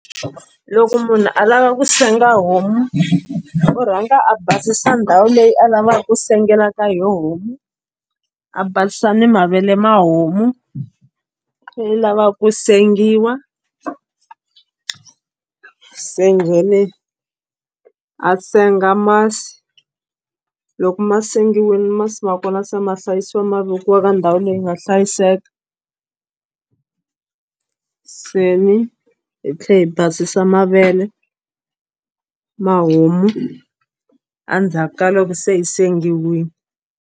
Loko munhu a lava ku senga homu u rhanga a basisa ndhawu leyi a lavaka ku sengela ka yoho homu a basisa mavele ma homu leyi lava ku sengiwa se then-i a senga masi loko ma sengiwile masi ma kona se ma hlayisiwa ma vekiwa ka ndhawu leyi nga hlayiseka se ni hi tlhela hi basisa mavele ma homu endzhaku ka loko se yi sengiwini.